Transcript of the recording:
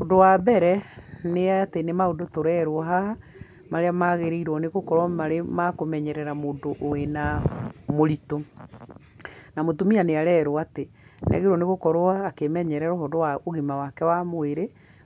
Ũndũ wa mbere, nĩ atĩ nĩ maũndũ tũrerwo haha, marĩa magĩrĩirwo nĩgũkorwo marĩ makũmenyerera mũndũ wĩ na, mũritũ. Na mũtumia nĩarerwo atĩ, nĩagĩrĩirwo nĩgũkorwo akĩmenyerera ũhoro wa ũgima wake wa mũĩrĩ,